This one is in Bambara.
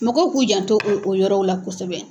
Mɔgɔw k'u jan to o o yɔrɔw la kosɛbɛ.